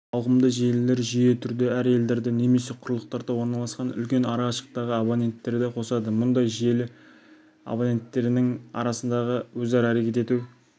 ауқымды желілер жиі түрде әр елдерде немесе құрлықтарда орналасқан үлкен арақашықтықтардағы абоненттерді қосады мұндай желі абоненттерінің арасындағы өзара әрекет ету